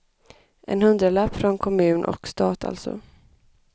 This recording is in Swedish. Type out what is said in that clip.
En hundralapp från kommun och stat alltså.